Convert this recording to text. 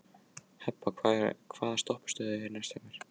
Hebba, hvaða stoppistöð er næst mér?